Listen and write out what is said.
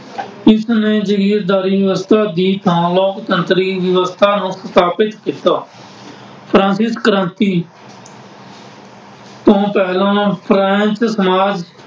ਇਸਨੇ ਜਾਗੀਰਦਾਰੀ ਵਿਵਸਥਾ ਦੀ ਥਾਂ ਲੋਕਤੰਤਰੀ ਵਿਵਸਥਾ ਨੂੰ ਸਥਾਪਿਤ ਕੀਤਾ। ਫਰਾਂਸਿਸ ਕ੍ਰਾਂਤੀ ਤੋਂ ਪਹਿਲਾਂ ਫਰਾਂਸ ਸਮਾਜ